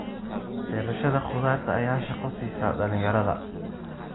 Beerashada khudaarta ayaa shaqo siisa dhalinyarada.